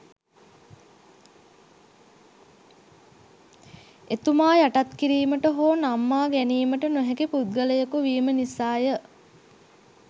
එතුමා යටත් කිරීමට හෝ නම්මා ගැනීමට නොහැකි පුද්ගලයකු වීම නිසාය